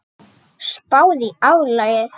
Spáðu í álagið.